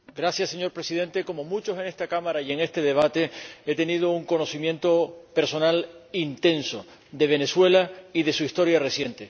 Señor Presidente, como muchos en esta Cámara y en este debate, he tenido un conocimiento personal intenso de Venezuela y de su historia reciente.